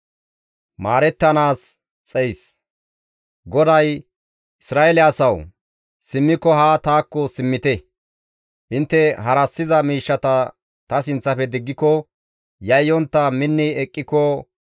GODAY, «Isra7eele asawu! simmiko haa taakko simmite. Intte harassiza miishshata ta sinththafe diggiko, yayyontta minni eqqiko,